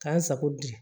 K'an sago bi